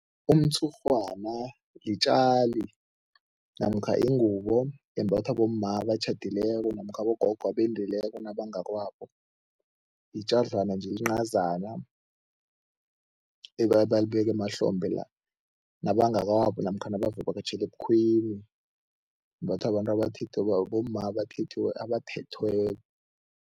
Umtshurhwana litjali namkha ingubo embathwa bomma abatjhadileko namkha abogogo abendileko nabangakwabo, yitjadlana nje encazana ebayibeka emahlombe la nabangakwabo namkha nabavakatjhela ebukhweni. Imbathwa babantu bomma abathethweko.